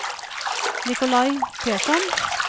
Nicolai Persson